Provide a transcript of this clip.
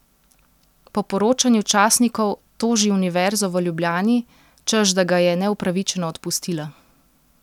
Po poročanju časnikov toži Univerzo v Ljubljani, češ da ga je neupravičeno odpustila.